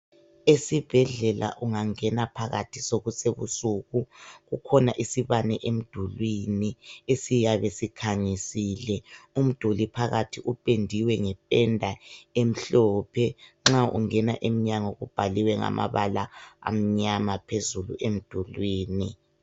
Esibhedlela ungangena phakathi ebukusuku , kukhona isibane emdulwini esiyabe sikhanyisile phakathi kupendiwe ngependa emhlophe nxa ungena phakathi kubhaliwe ngamabala amnyama .